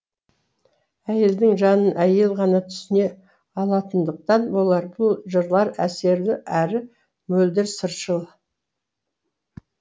әйелдің жанын әйел ғана түсіне алатындықтан болар бұл жырлар әсерлі әрі мөлдір сыршыл